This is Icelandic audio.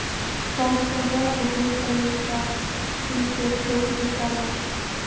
Hvammstanga og Hitaveita Hríseyjar tóku til starfa.